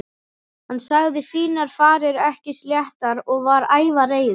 Hann sagði sínar farir ekki sléttar og var ævareiður.